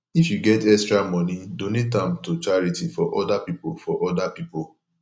if yu get extra moni donate am to charity for oda pipo for oda pipo